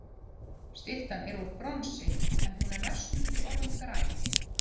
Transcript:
Styttan er úr bronsi, en hún er næstum því orðin græn.